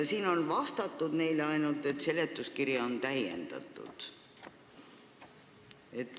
Siin on neile vastatud ainult nii, et seletuskirja on täiendatud.